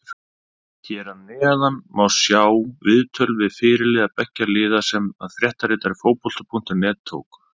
Hér að neðan má sjá viðtöl við fyrirliða beggja liða sem að fréttaritari Fótbolti.net tók.